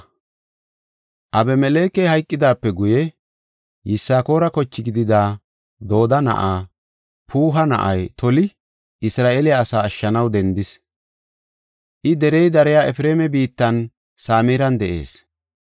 Abimelekey hayqidaape guye, Yisakoora koche gidida Dooda na7aa, Puuha na7ay Toli, Isra7eele asaa ashshanaw dendis. I derey dariya Efreema biittan Samiran de7is.